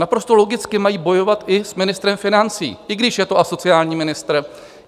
Naprosto logicky mají bojovat i s ministrem financí, i když je to asociální ministr.